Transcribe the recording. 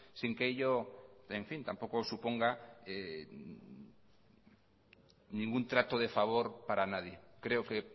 sin que ello tampoco suponga ningún trato de favor para nadie creo que